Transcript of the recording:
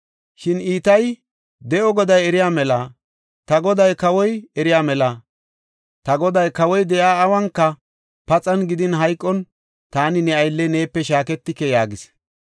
Shin Itayi, “De7o Goday eriya mela, ta goday kawoy eriya mela, ta goday kawoy de7iya awunka, paxan gidin hayqon taani ne aylley neepe shaaketike” yaagis.